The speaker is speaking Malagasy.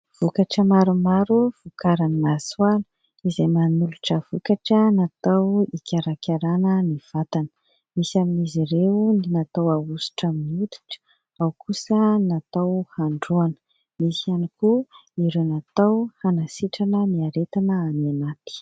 Vokatra maromaro vokarin'i Masoala izay manolotra vokatra natao hikarakarana ny vatana. Misy amin'izy ireo ny natao ahosotra amin'ny hoditra ao kosa natao handroana, misy iany koa ireo natao hanasitrana ny aretina any anaty.